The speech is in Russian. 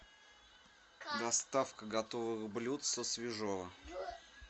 доставка готовых блюд со свежово